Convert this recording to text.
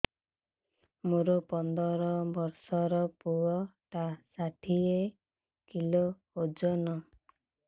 ମୋର ପନ୍ଦର ଵର୍ଷର ପୁଅ ଟା ଷାଠିଏ କିଲୋ ଅଜନ